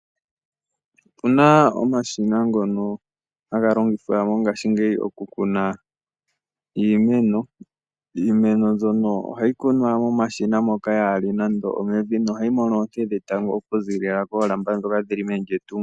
Opuna omashina ngono haga longithwa mongashingeyi oku kuna iimeno. Iimeno mbyono ohayi kunwa momashina moka yaa li nande omevi, noha yi mono oonte dhetango oku ziilila koolamba ndhoka dhi li meni lyetungo.